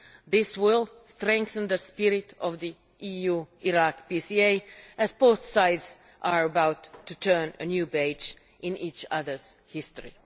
This will strengthen the spirit of the EU Iraq PCA, as both sides are about to turn a new page in each other's history.